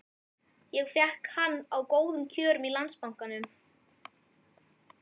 Ég fékk hann á góðum kjörum frá Landsbankanum.